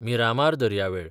मिरामार दर्यावेळ